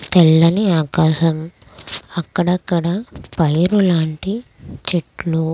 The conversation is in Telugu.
తెల్లని ఆకాశం అక్కడ అక్కడ పైరులాంటి చెట్లు.